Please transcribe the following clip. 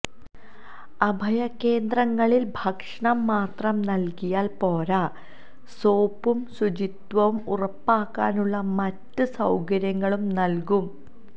അഭയകേന്ദ്രങ്ങളിൽ ഭക്ഷണം മാത്രം നൽകിയാൽ പോരാ സോപ്പും ശുചിത്വവും ഉറപ്പാക്കാനുള്ള മറ്റ് സൌകര്യങ്ങളും നൽകും